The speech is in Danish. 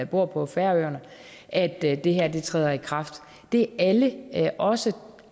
bor på færøerne at at det her træder i kraft det er alle også